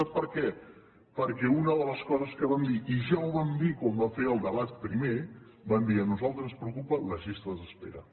sap per què perquè una de les coses que vam dir i ja ho vam dir quan vam fer el debat primer vam dir a nosaltres ens preocupen les llistes d’espera